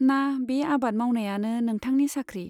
ना बे आबाद मावनायानो नोंथांनि साख्रि ?